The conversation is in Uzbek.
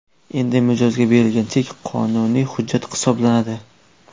Endi mijozga berilgan chek qonuniy hujjat hisoblanadi.